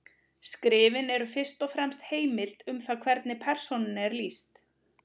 Skrifin eru fyrst og fremst heimild um það hvernig persónunni er lýst.